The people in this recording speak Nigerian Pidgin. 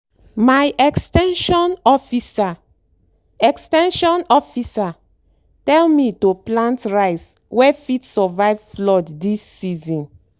my ex ten sion officer ex ten sion officer tell me to plant rice wey fit survive flood this season.